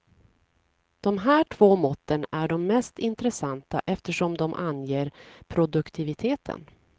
De här två måtten är de mest intressanta eftersom de anger produktiviteten.